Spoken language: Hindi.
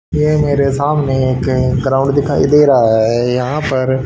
ये मेरे सामने एक ग्राउंड दिखाई दे रहा है। यहां पर--